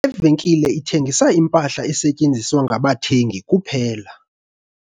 Le venkile ithengisa impahla esetyenziswa ngabathengi kuphela.